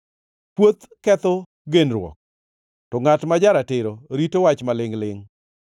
Kuoth ketho genruok, to ngʼat ma ja-ratiro rito wach malingʼ-lingʼ.